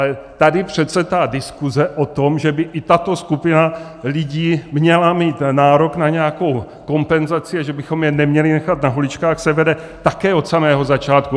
Ale tady přece ta diskuze o tom, že by i tato skupina lidí měla mít nárok na nějakou kompenzaci a že bychom je neměli nechat na holičkách, se vede také od samého začátku.